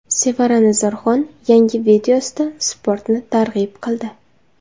Sevara Nazarxon yangi videosida sportni targ‘ib qildi.